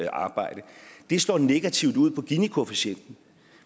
arbejde det slår negativt ud på ginikoefficienten